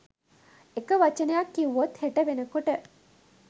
එක වචනයක් කීවොත් හෙට වෙන කොට